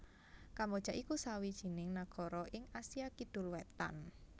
Kamboja iku sawijining nagara ing Asia Kidul Wétan